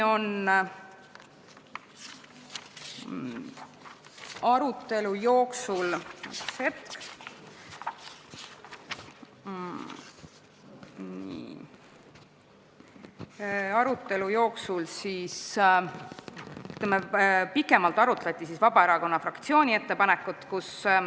Pikemalt arutati Vabaerakonna fraktsiooni ettepanekut.